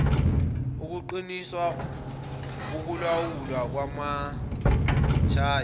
ukuqiniswa kokulawulwa kwamathayi